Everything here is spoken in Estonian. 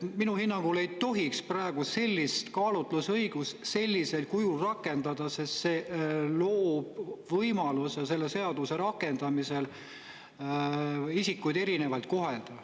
Minu hinnangul ei tohiks praegu sellist kaalutlusõigust sellisel kujul rakendada, sest see loob võimaluse selle seaduse rakendamisel isikuid erinevalt kohelda.